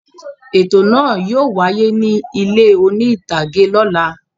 Ètò náà yóò wáyé ní ilé oní-ìtàgé lọ́la.